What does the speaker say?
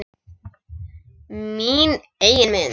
Mína eigin mynd.